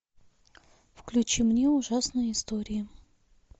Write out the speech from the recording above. включи мне ужасные истории